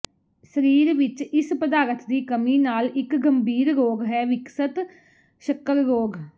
ਸਰੀਰ ਵਿੱਚ ਇਸ ਪਦਾਰਥ ਦੀ ਕਮੀ ਨਾਲ ਇੱਕ ਗੰਭੀਰ ਰੋਗ ਹੈ ਵਿਕਸਤ ਸ਼ੱਕਰ ਰੋਗ